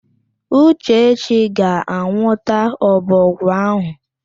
Uchechi ga-anwụta ọbọgwụ áhụ̀.